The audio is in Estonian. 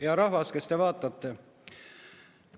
Hea rahvas, kes te vaatate!